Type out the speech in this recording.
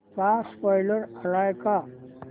चा स्पोईलर आलाय का